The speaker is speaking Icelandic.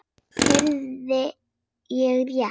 Heyrði ég rétt.